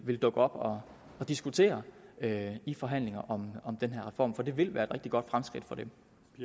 vil dukke op og diskutere det i forhandlingerne om den her reform for det vil være et rigtig godt fremskridt for dem